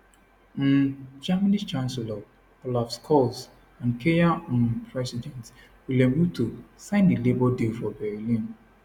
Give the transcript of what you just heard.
um germany chancellor olaf scholz and kenya um president william ruto sign di labour deal for berlin